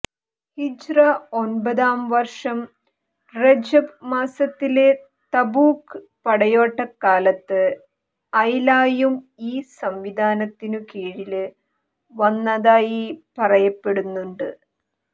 ഹിജ്റ ഒമ്പതാം വര്ഷം റജബ് മാസത്തില് തബൂക്ക് പടയോട്ടക്കാലത്ത് ഐലായും ഈ സംവിധാനത്തിനു കീഴില് വന്നതായി പറയപ്പെടുന്നുണ്ട്